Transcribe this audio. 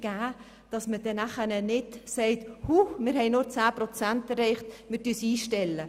Es ist wichtig, dass man dann nicht am Ende sagt, man habe nur zehn Prozent erreicht und deshalb würde man das Programm einstellen.